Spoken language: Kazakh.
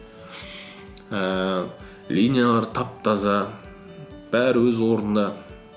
ііі линиялар тап таза бәрі өз орнында